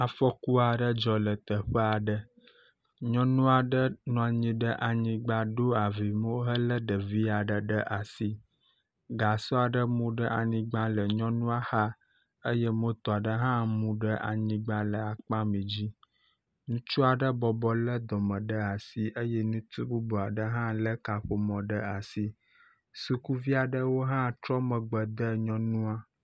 Afɔku aɖe dzɔ le teƒe aɖe. nyɔnu aɖe nɔ anyi ɖe anyigba ɖo avi mo hele ɖevi aɖe ɖe asi. Gasɔ aɖe mu ɖe anyigba le nyɔnua xa eye moto aɖe hã mu ɖe anyigba le akpamɛ dzi. Ŋutsu aɖe bɔbɔ le dɔme ɖe asi eye ŋutsu bubu aɖe hã ele kaƒomɔ ɖe asi. Sukuvi aɖewo hã etrɔ megbe de nyɔnua.